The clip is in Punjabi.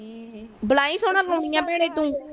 ਵੇ ਬਾਲਾ ਹੀ ਸ਼ੋਣਾ ਗੌਂਦੀ ਭੈਣੇ ਤੂੰ